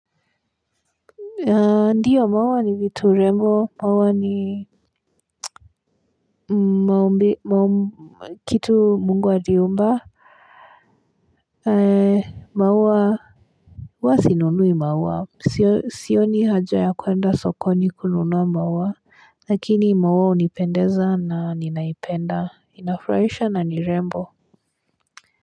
Ndiyo maua ni vitu rembo maua ni maumbi maum kitu mungu aliumba. Ee maua huwa sinunui maua sioni haja ya kuenda sokoni kununua maua lakini maua hunipendeza na ninaipenda inafurahisha na ni rembo.